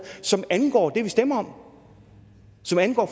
som angår det vi stemmer om som angår